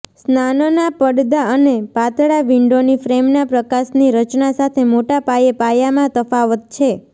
સ્નાનના પડદા અને પાતળા વિંડોની ફ્રેમના પ્રકાશની રચના સાથે મોટા પાયે પાયામાં તફાવત છે